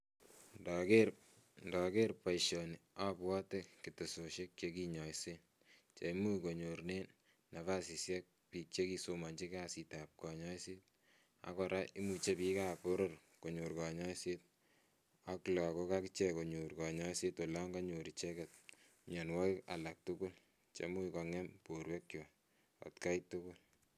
Ndoger boisioni abwati ketesosiek chekinyoisen cheimuch konyoruren nafasisiek biik chekisomonchi kasitab kanyoiset, akora imuche biikab boror konyor konyoiset ak lakok akichek konyor konyoiset olon konyor icheket mianwokik alak tugul chemuch kong'em borwekwak at kai tugul.